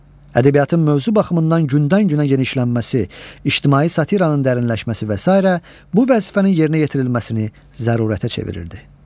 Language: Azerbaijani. Ədəbiyyatın mövzu baxımından gündən-günə genişlənməsi, ictimai satiranın dərinləşməsi və sairə bu vəzifənin yerinə yetirilməsini zərurətə çevirirdi.